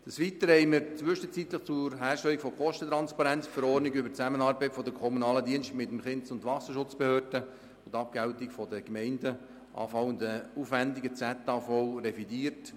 Des Weiteren haben wir zwischenzeitlich zur Herstellung der Kostentransparenz die ZAV revidiert.